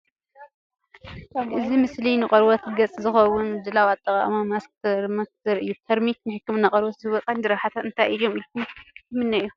እዚ ምስሊ ንቆርበት ገጽ ዝኸውን ምድላውን ኣጠቓቕማን ማስክ ተርሚክ ዘርኢ እዩ። ተርሚክ ንሕክምና ቆርበት ዝህቦ ቀንዲ ረብሓታት እንታይ እዮም ኢልኩ ትኣምኑ?